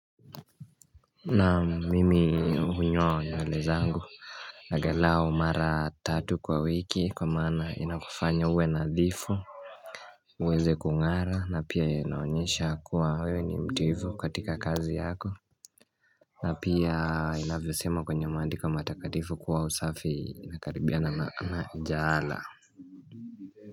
Na mimi unyo na lezangu Nagalao mara tatu kwa wiki kwa mana inakufanya uwe nadhifu uweze kungara na pia inaonyesha kuwa wewe ni mtuivu katika kazi yako na pia inavyo sema kwenye mandi kwa matakadhifu kuwa usafi inakaribiana na jala.